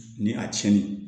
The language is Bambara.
Ni a cɛnni